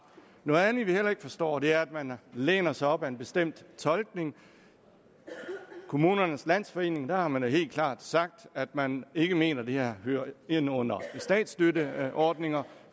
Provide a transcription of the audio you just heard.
noget andet vi heller ikke forstår er at man læner sig op ad en bestemt tolkning i kommunernes landsforening har man helt klart sagt at man ikke mener at det her hører ind under statsstøtteordninger